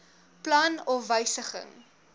plan of wysiging